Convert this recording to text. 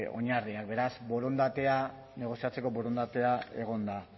oinarriak beraz borondatea negoziatzeko borondatea egon da